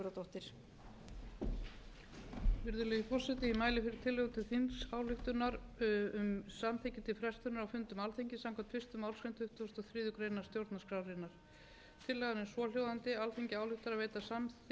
tuttugustu og þriðju grein stjórnarskrárinnar tillagan er svohljóðandi alþingi ályktar að veita samþykki til þess að fundum þingsins verði frestað frá tuttugasta og fjórða